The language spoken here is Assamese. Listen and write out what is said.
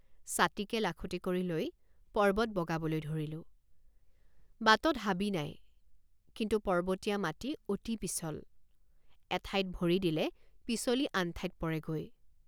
ছাতিকে লাখুটি কৰি লৈ পৰ্বত বগাবলৈ ধৰিলোঁ বাটত হাবি নাই কিন্তু পৰ্বতীয়া মাটি অতি পিছল এঠাইত ভৰি দিলে পিছলি আন ঠাইত পৰেগৈ।